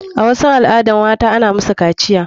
A waɗansu al adan mata ana musu kaciya.